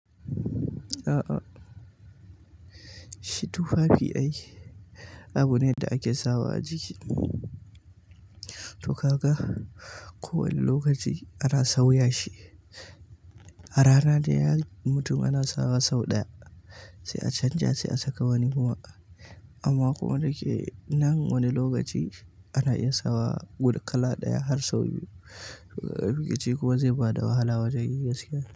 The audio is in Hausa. A'a, shitu tufafi ai abu ne da ake sawa a jiki. To ka ga, kowane lokaci ana sauya shi. A rana dai mutum ana sawa sau ɗaya, sai a canja sai a saka wani kuma. Amma kuma da ke nan wani lokaci ana iya sawa guda kala ɗaya har sau biyu. Wani lokaci kuma zai ba da wahala wajen gaskiya.